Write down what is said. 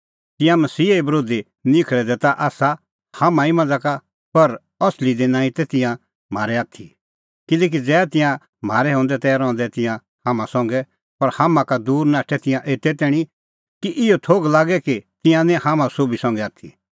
तिंयां मसीहे बरोधी निखल़ै दै ता आसा हाम्हां ई मांझ़ा का पर असली दी नांईं तै तिंयां म्हारै आथी किल्हैकि ज़ै तिंयां म्हारै हंदै तै रहंदै तिंयां हाम्हां संघै पर हाम्हां का दूर नाठै तिंयां एते तैणीं कि इहअ थोघ लागे कि तिंयां निं हाम्हां सोभी संघै आथी